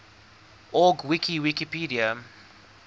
org wiki wikipedia